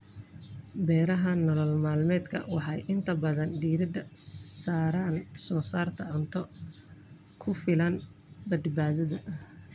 Beeraha nolol-maalmeedka waxay inta badan diiradda saaraan soo saarista cunto ku filan badbaadada.